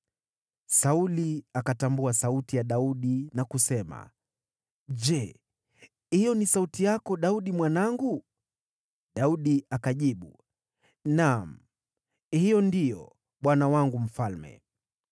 Sauli akatambua sauti ya Daudi, na kusema, “Je, hiyo ni sauti yako, Daudi mwanangu?” Daudi akajibu, “Naam, hiyo ndiyo, bwana wangu mfalme.”